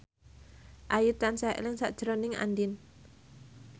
Ayu tansah eling sakjroning Andien